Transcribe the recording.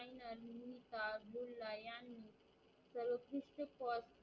शिपवाज